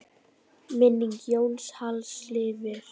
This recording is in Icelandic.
Minning Jóns Halls lifir.